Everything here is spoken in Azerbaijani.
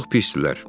Çox pisdirlər.